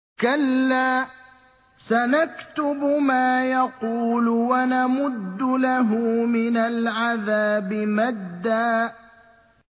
كَلَّا ۚ سَنَكْتُبُ مَا يَقُولُ وَنَمُدُّ لَهُ مِنَ الْعَذَابِ مَدًّا